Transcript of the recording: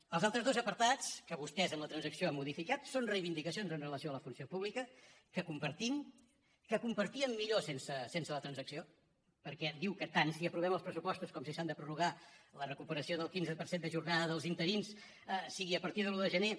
els altres dos apartats que vostès en la transacció han modificat són reivindicacions amb relació a la funció pública que compartim que compartíem millor sense la transacció perquè diu que tant si aprovem els pressupostos com si s’han de prorrogar la recuperació del quinze per cent de jornada dels interins sigui a partir de l’un de gener